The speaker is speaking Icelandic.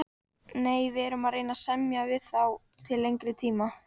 Nei, við erum að reyna að semja við þá til lengri tíma.